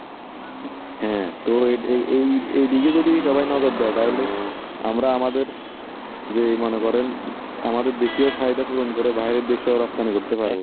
হ্যাঁ তো আর এই এই এই দিকে যদি সবাই নজর দেয়, তাহলে আমরা আমাদের যে মনে করেন আমাদের দেশে চাহিদা পূরণ করে বাইরে দেশে রপ্তানি করতে পারবো